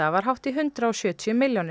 var hátt í hundrað og sjötíu milljónir